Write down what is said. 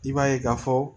I b'a ye k'a fɔ